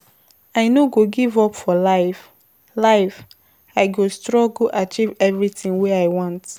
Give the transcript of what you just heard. I no go give up for life, life, I go struggle achieve everytin wey I want.